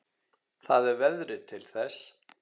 Það er veðrið til þess.